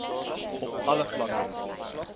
op alle vlakke